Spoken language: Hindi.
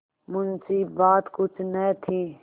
मुंशीबात कुछ न थी